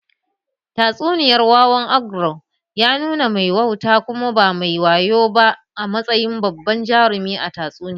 Tatsuniyar wawan ogre ya nuna mai wauta kuma ba mai wayo ba a matsayin babban jarumin tatsuniyar